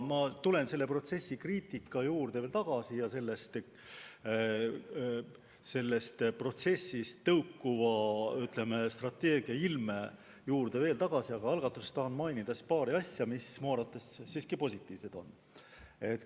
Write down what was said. Ma tulen selle protsessi kriitika juurde ja sellest protsessist tõukuva strateegia ilme juurde veel tagasi, aga algatuseks tahan mainida paari asja, mis minu arvates on siiski positiivsed.